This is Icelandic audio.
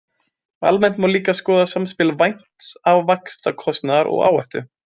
Almennt má líka skoða samspil vænts vaxtakostnaðar og áhættu.